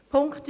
Punkt 3